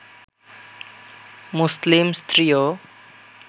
মুসলিম স্ত্রীও